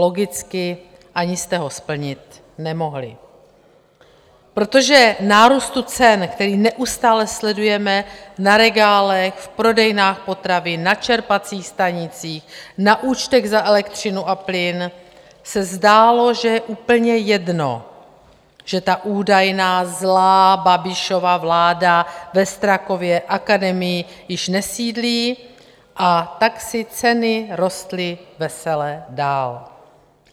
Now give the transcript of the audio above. Logicky ani jste ho splnit nemohli, protože nárůstu cen, který neustále sledujeme na regálech, v prodejnách potravin, na čerpacích stanicích, na účtech za elektřinu a plyn, se zdálo, že je úplně jedno, že ta údajná zlá Babišova vláda ve Strakově akademii již nesídlí, a tak si ceny rostly vesele dál.